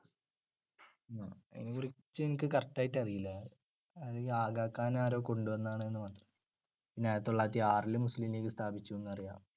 അതിനെക്കുറിച്ച് എനിക്ക് correct ആയിട്ട് അറിയില്ല. അത് ആഗാഖാൻ ആരോ കൊണ്ടുവന്നതാണെന്ന് പിന്നെ ആയിരത്തിതൊള്ളായിരത്തിയാറിൽ മുസ്ലീം ലീഗ് സ്ഥാപിച്ചുന്നു അറിയാം.